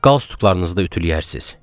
Qalstuklarınızı da ütüləyərsiniz.